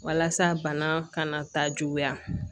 Walasa bana kana taa juguya